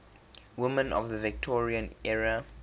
women of the victorian era